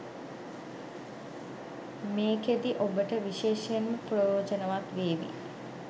මේකෙදි ඔබට විශේෂයෙන්ම ප්‍රයෝජනවත් වේවි